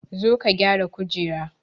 Zo ka gyara kujera